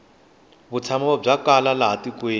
vutshamo bya kala laha tikweni